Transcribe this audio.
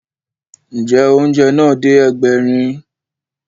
Ǹjẹ́, oúnjẹ náà dé Ẹgbẹ̀rin